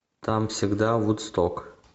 там всегда вудсток